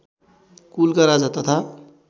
कुलका राजा तथा